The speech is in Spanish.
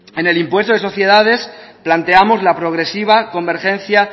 en el impuesto de sociedades planteamos la progresiva convergencia